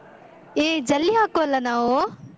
ಏ ಜಲ್ಲಿ ಹಾಕುವಲ್ಲ ನಾವು?